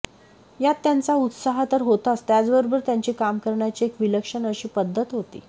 यात त्यांचा उत्साह तर होताच त्याचबरोबर त्यांची काम करण्याची एक विलक्षण अशी पद्धत होती